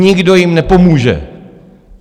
Nikdo jim nepomůže.